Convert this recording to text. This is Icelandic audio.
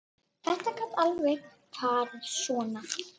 Þetta gat alveg farið svona.